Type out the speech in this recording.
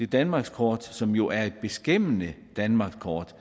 danmarkskortet som jo er et beskæmmende danmarkskort